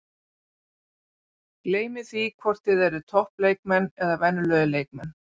Gleymið því hvort þið eruð topp leikmenn eða venjulegir leikmenn.